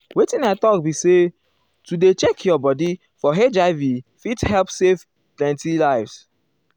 wetin i talk be sayah to dey check your bodi for hiv fit help save plenti lives.